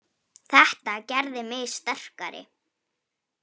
Þetta gerði mig sterkari.